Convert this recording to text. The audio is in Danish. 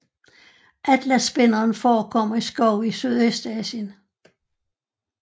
Atlasspinderen forekommer i skove i Sydøstasien